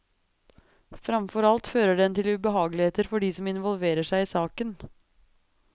Framfor alt fører den til ubehageligheter for de som involverer seg i saken.